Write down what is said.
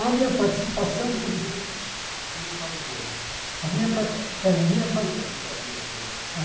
A minha participação, Por exemplo, quando tem o Estado Novo, A minha parti Trinta e sete É a minha parti O que muda na sua vida por exemplo A